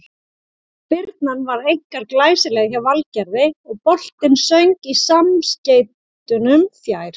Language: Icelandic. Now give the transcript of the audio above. Spyrnan var einkar glæsileg hjá Valgerði og boltinn söng í samskeytunum fjær.